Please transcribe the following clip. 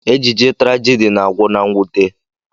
Ejije trajidi na-agwụ na mwute.